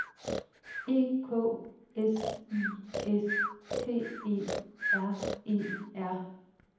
E K S I S T E R E R